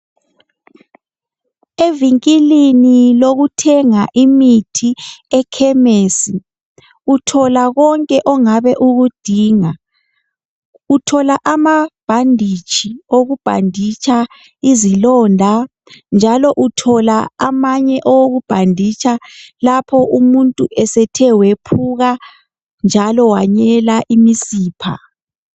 Evinkilini lokuthenga imithi ekhemesi uthola konke ongabe ukudinga. Uthola amabhanditshi okubhanditsha izilonda, njalo uthola amanye okubhanditsha lapho umuntu esethe wephuka njalo wanyela imisipha